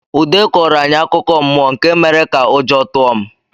Ude kọọrọ anyị akụkọ mmụọ nke mere ka ụjọ tụọ m.